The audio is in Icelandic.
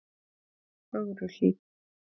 Fögruhlíð